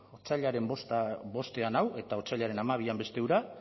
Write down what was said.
otsailaren bostean hau eta otsailaren hamabian beste hura